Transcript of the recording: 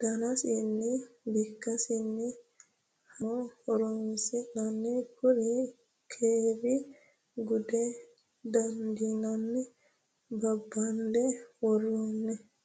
daninsanni bikkinsanni hattono horonsanni kuri kiire guda dandiinanni babande woromero.